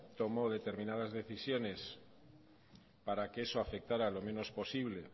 tomó determinadas decisiones para que eso afectara lo menos posible